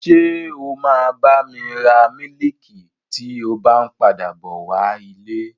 Ṣé o máa bá mi ra mílìkì tí o bá n padà bọ wá ilé?